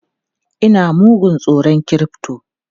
Ina mugun tsoron crypto!